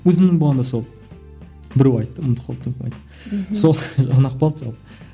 өзімнің болғанда сол біреу айтты ұмытып қалыппын сол ұнап қалды сол